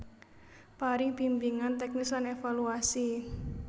Paring bimbingan teknis lan evaluasi